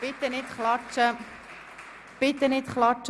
Ich bitte Sie, auf der Tribüne nicht zu klatschen!